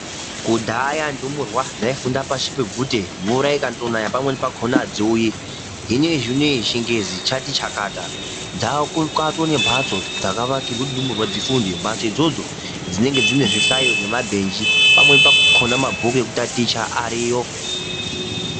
Kudhaya ndumurwa dzaifunda pashi pebvute, mvura ikandonaya pamweni pakhona adziuyi. Hino iye zvinei chingezi chati chakata dzaako katoo nembhatso dzakavakirwe kuti ndumura dzifunde. Mbhatso idzodzo dzinenge dzine zvihlayo nemabhenji, pamweni pakhona mabhuku ekutaticha ariyo.